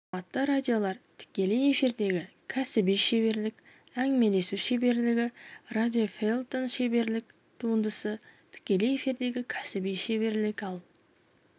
форматты радиолар тікелей эфирдегі кәсіби шеберлік әңгімелесу шеберлігі радиофельетон шеберлік туындысы тікелей эфирдегі кәсіби шеберлік ал